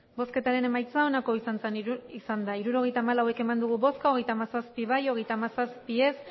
hirurogeita hamalau eman dugu bozka hogeita hamazazpi bai hogeita hamazazpi ez